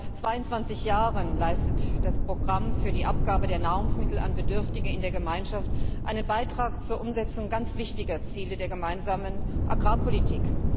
Seit 22 Jahren leistet das Programm für die Abgabe von Nahrungsmitteln an Bedürftige in der Gemeinschaft einen Beitrag zur Umsetzung ganz wichtiger Ziele der Gemeinsamen Agrarpolitik.